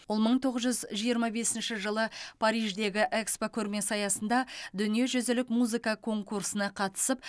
ол мың тоғыз жүз жиырма бесінші жылы париждегі экспо көрмесі аясында дүниежүзілік музыка конкурсына қатысып